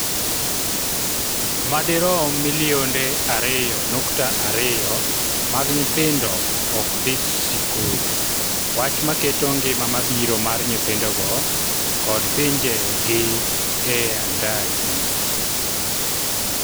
(ma dirom milionde ariyo nukta ariyo) mag nyithindo ok dhi sikul wach ma keto ngima mabiro mar nyithindogo kod pinje' gi e andaki